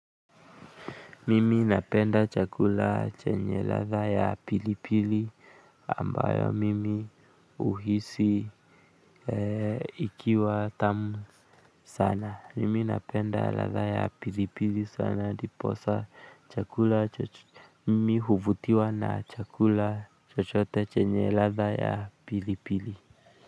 Mimi napenda chakula chenye ladha ya pilipili ambayo mimi uhisi ikiwa tamu sana. Mimi napenda ladha ya pilipili sana ndiposa chakula mimi huvutiwa na chakula chochote chenye ladha ya pilipili.